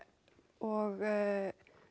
og